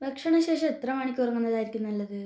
ഭക്ഷണ ശേഷം ഏത്ര മണിക്ക് ഉറങ്ങുന്നതായിരിക്കും നല്ലത്